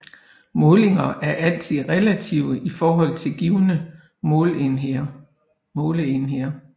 Målinger er altid relative i forhold til givne måleenheder